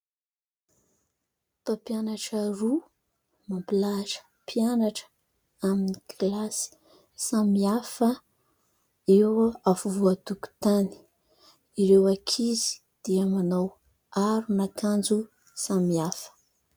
Mpampianatra roa mampilahatra mpianatra amin'ny kilasy samy hafa eo afovoan'ny tokontany. Ireo ankizy dia manao aron'akanjo samy hafa.